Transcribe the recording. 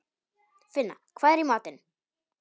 Finna, hvað er í matinn?